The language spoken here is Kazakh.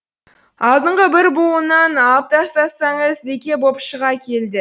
алдыңғы бір буынын алып тастасаңыз лике боп шыға келді